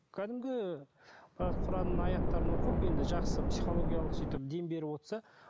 кәдімгі ы құранның аяттарын оқып енді жақсы психологиялық сөйтіп дем беріп отырса